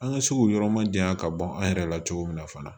An ka se k'o yɔrɔ ma janya ka bɔ an yɛrɛ la cogo min na fana